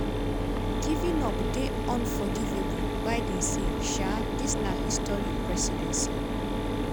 giving up dey unforgivable:biden say um “ dis na historic presidency."